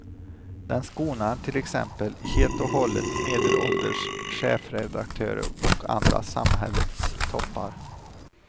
Den skonar till exempel helt och hållet medelålders chefredaktörer och andra samhällets toppar.